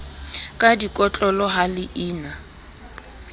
ka dikotlolo ha le ina